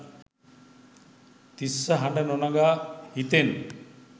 තිස්ස හඬ නොනගා හිතෙන්